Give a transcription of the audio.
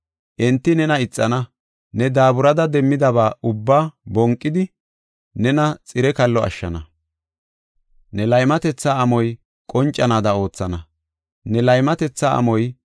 Enti nena ixana; ne daaburada demmidaba ubba bonqidi, nena xire kallo ashshana. Ne laymatetha amoy qoncanaada oothana. Ne laymatetha amoy,